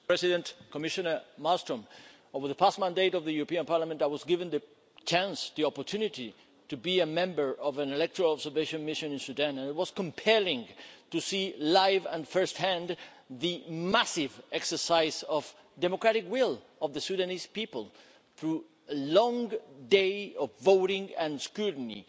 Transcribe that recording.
Mr President, Commissioner Malmström, over the past mandate of the European Parliament I was given the chance, the opportunity, to be a member of an electoral observation mission in Sudan and it was compelling to see live and first hand the massive exercise of democratic will of the Sudanese people through a long day of voting and scrutiny.